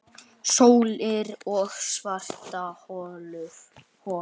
Sólir og svarthol